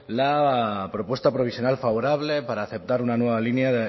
la propuesta provisional favorable para aceptar una nueva línea